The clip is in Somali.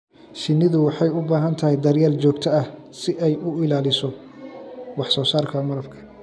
Shinnidu waxay u baahan tahay daryeel joogto ah si ay u ilaaliso wax soo saarka malabka